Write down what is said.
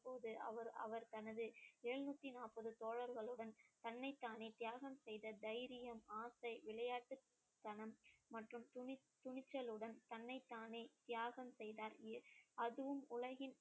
போது அவர் அவர் தனது எழுநூத்தி நாற்பது தோழர்களுடன் தன்னைத்தானே தியாகம் செய்த தைரியம், ஆசை, விளையாட்டுத்தனம் மற்றும் துணி~ துணிச்சலுடன் தன்னைத்தானே தியாகம் செய்தார் எ~ அதுவும் உலகின்